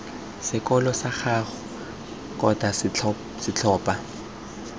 sekolo sag ago kgotsa setlhopha